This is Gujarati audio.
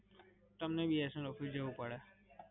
તમને BSNL office જવું પડે.